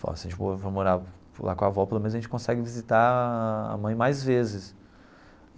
Falou ó, se a gente for for morar for lá com a avó, pelo menos a gente consegue visitar a mãe mais vezes.